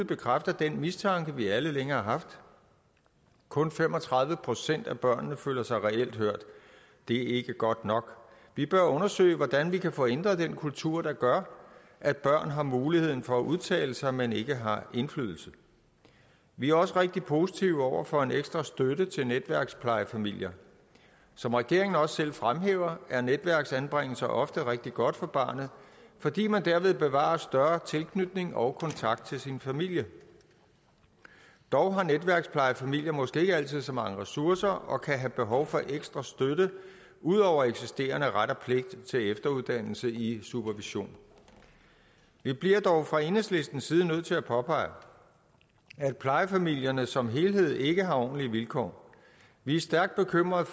bekræfter den mistanke vi alle længe har haft kun fem og tredive procent af børnene føler sig reelt hørt det er ikke godt nok vi bør undersøge hvordan vi kan få ændret den kultur der gør at børn har mulighed for at udtale sig men ikke har indflydelse vi er også rigtig positive over for en ekstra støtte til netværksplejefamilier som regeringen også selv fremhæver er netværksanbringelser ofte rigtig godt for barnet fordi man derved bevarer større tilknytning og kontakt til sin familie dog har netværksplejefamilier måske ikke altid så mange ressourcer og de kan have behov for ekstra støtte ud over eksisterende ret og pligt til efteruddannelse i supervision vi bliver dog fra enhedslistens side nødt til at påpege at plejefamilierne som helhed ikke har ordentlige vilkår vi er stærkt bekymrede